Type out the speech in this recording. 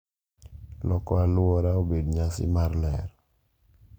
Loko alwora obed nyasi mar ler